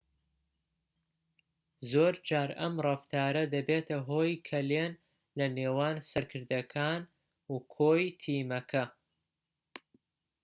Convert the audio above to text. زۆرجار ئەم ڕەفتارە دەبێتە هۆی کەلێن لە نێوان سەرکردەکان و کۆی تیمەکە